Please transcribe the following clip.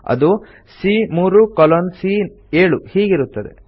ಅದು ಸಿಎ3 colon CA seven ಹೀಗಿರುತ್ತದೆ